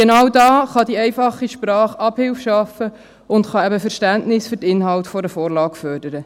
Genau dort kann die einfache Sprache Abhilfe schaffen und Verständnis für die Inhalte einer Vorlage fördern.